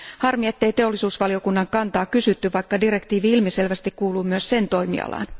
Harmi, ettei teollisuusvaliokunnan kantaa kysytty, vaikka direktiivi ilmiselvästi kuuluu myös sen toimialaan.